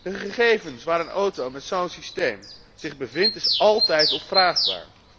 De gegevens waar een auto met zo´n systeem zich bevindt zijn altijd opvraagbaar.